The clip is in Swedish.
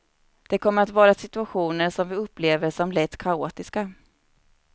Det kommer att vara situationer som vi upplever som lätt kaotiska.